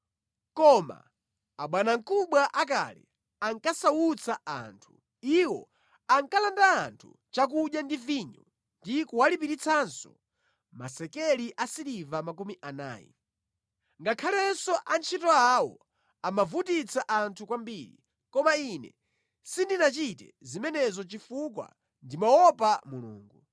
Koma abwanamkubwa akale ankasautsa anthu. Iwo ankalanda anthu chakudya ndi vinyo ndi kuwalipiritsanso masekeli asiliva makumi anayi. Ngakhalenso antchito awo amavutitsa anthu kwambiri. Koma ine sindinachite zimenezo chifukwa ndimaopa Mulungu.